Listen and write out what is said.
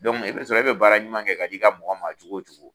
Dɔnku i bɛ sɔrɔ e bɛ baara ɲuman kɛ ka d'i ka mɔgɔ maa cogo o cogo